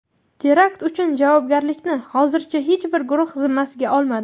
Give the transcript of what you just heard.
Terakt uchun javobgarlikni hozircha hech bir guruh zimmasiga olmadi.